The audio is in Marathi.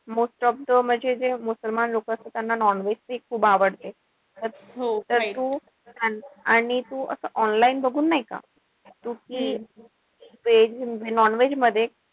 Most of म्हणजे जे मुसलमान लोकं असता त्यांना non-veg खूप आवडते. त तू आणि तू online बघून नाई का. तू कि veg म्हणजे non-veg मध्ये,